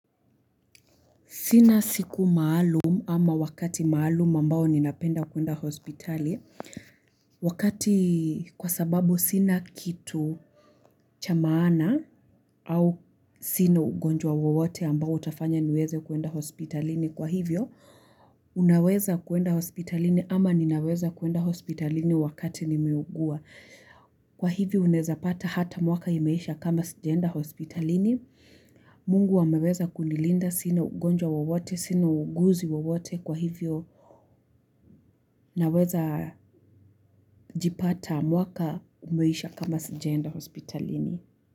Sina siku maalum ama wakati maalum ambao ninapenda kuenda hospitali. Wakati kwa sababu sina kitu cha maana au sina ugonjwa wowote ambao utafanya niweze kuenda hospitalini. Kwa hivyo, unaweza kuenda hospitalini ama ninaweza kuenda hospitalini wakati nimeugua. Kwa hivyo, unaeza pata hata mwaka imeisha kama sijaenda hospitalini. Mungu ameweza kunilinda sina ugonjwa wowote sina uuguzi wowote kwa hivyo naweza jipata mwaka umeisha kama sijaenda hospitalini.